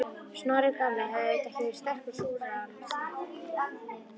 Snorri gamli hafði auðvitað ekki verið sterkur súrrealisti.